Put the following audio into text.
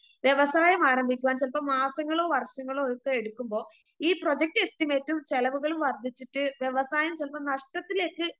വ്യവസായമാരംഭിക്കുവാൻ ചിലപ്പോ മാസങ്ങളോ വർഷങ്ങളോവൊക്കെ എടുക്കുമ്പോ ഈ പ്രൊജക്റ്റ് എസ്റ്റിമേറ്റും ചെലവുകളും വർദ്ധിച്ചിട്ട് വ്യവസായം ചെലപ്പോ നഷ്ടത്തിലേക്ക്